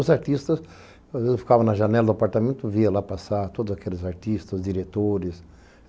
Os artistas, eu ficava na janela do apartamento, via lá passar todos aqueles artistas, diretores.